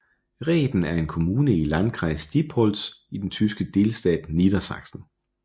Rehden er en kommune i i Landkreis Diepholz i den tyske delstat Niedersachsen